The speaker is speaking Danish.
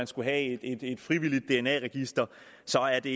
skulle have et frivilligt dna register så er det